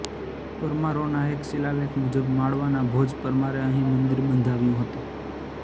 પરમારોના એક શિલાલેખ મુજબ માળવાના ભોજ પરમારે અહીં મંદિર બંધાવ્યું હતું